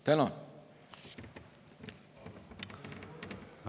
Tänan!